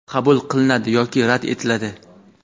qabul qilinadi yoki rad etiladi.